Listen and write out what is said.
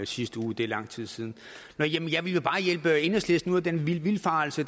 sidste uge er lang tid siden jeg ville jo bare hjælpe enhedslisten ud af den vildfarelse